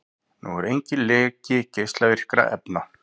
Nú er enginn leki geislavirkra efna